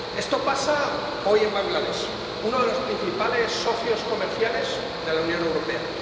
Esto pasa hoy en Bangladés, uno de los principales socios comerciales de la Unión Europea.